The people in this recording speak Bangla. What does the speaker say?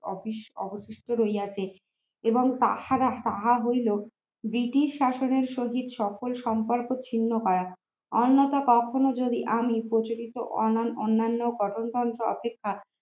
office অবশিষ্ট রহিয়া এবং পাহারা তাহা হইল British শাসনের সহিত সকল সম্পর্ক ছিন্ন করা অন্যথা কখনো যদি আমি প্রচলিত অন্যান্য গঠনতন্ত্র অপেক্ষা